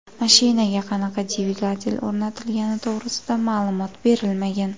Mashinaga qanaqa dvigatel o‘rnatilgani to‘g‘risida ma’lumot berilmagan.